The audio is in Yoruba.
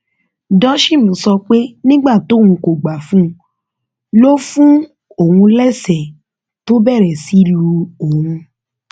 dosheim sọ pé nígbà tóun kò gbà fún un ló fún òun lẹsẹẹ tó bẹrẹ sí í lu òun